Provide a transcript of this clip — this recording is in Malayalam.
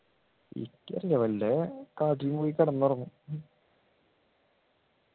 എനിക്കറീല വല്ല കാട്ടിലും പോയി കിടന്നുറങ്ങും